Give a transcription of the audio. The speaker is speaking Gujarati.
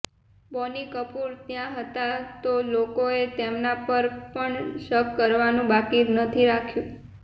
બોની કપૂર ત્યા હતા તો લોકોએ તેમના પર પણ શક કરવાનુ બાકી નથી રાખ્યુ